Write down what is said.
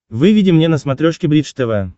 выведи мне на смотрешке бридж тв